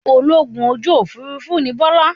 Ológun ojú òfurufú ní Bọ́lá.